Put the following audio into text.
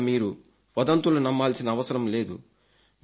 ఇప్పుడిక మీరు వదంతులు నమ్మాల్సిన అవసరం లేదు